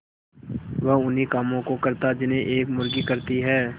वह उन्ही कामों को करता जिन्हें एक मुर्गी करती है